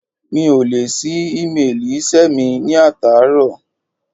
Mi ò lè ṣí émeèlì iṣẹ́ mi ní àtàárọ̀.